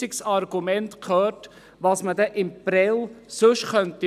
Ich habe kein einziges Argument gehört, was in Prêles sonst gemacht werden könnte.